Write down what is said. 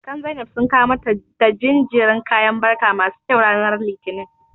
Sirikan Zainab sun kawo mata da jinjirin kayan barka masu kyau ranar Litinin.